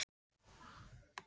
Þér stekkur ekki bros Árni.